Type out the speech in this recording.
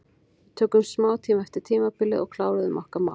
Við tókum smá tíma eftir tímabilið og kláruðum okkar mál.